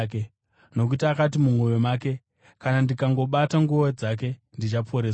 nokuti akati mumwoyo make, “Kana ndikangobata nguo dzake, ndichaporeswa.”